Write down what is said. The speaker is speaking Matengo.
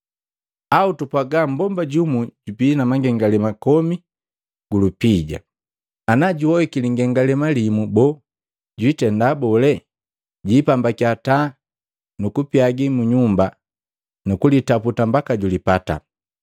“Au tupwaga mmbomba jumu jubii na mangengalema komi gu lupija, ana juhoiki lingengalema limu boo, jwiitenda bole? Jipambakiya taa, nuku pyagii mu nyumba nukulitaputa mbaka julipata.